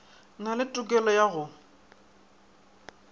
na le tokelo ya go